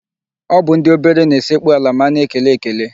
Ọ bụ ndị obere na-esekpu ala ma a na-ekele ekele.